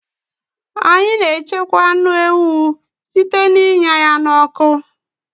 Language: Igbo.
Anyị na-echekwa anụ ewu site n'ịnya ya n'ọkụ